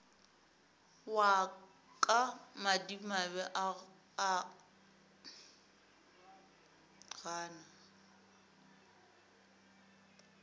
wa ka madimabe o gana